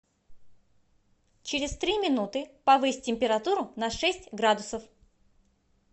через три минуты повысь температуру на шесть градусов